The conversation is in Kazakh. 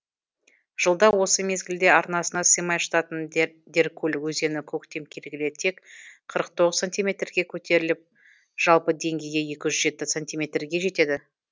жылда осы мезгілде арнасына сыймай жататын деркөл өзені көктем келгелі тек қырық тоғыз сантиметрге көтеріліп жалпы деңгейі екі жүз жеті сантиметрге жетеді